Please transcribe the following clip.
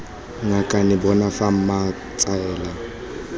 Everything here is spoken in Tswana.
ngakane bona fa mma tsela